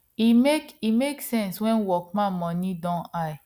e make e make sense when workman money don high